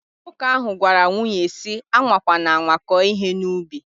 Nwoke ahu gwara nwunye si: Anwa kwana anwa ko ihe na ubi!